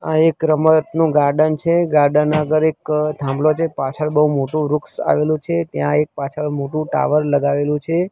આ એક રમતનું ગાર્ડન છે ગાર્ડન આગળ એક થાંભલો છે પાછળ બઉ મોટુ વૃક્ષ આવેલુ છે ત્યાં એક પાછળ મોટુ ટાવર લગાવેલું છે.